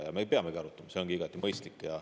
Ja me peamegi arutama, see on igati mõistlik.